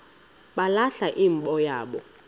balahla imbo yabo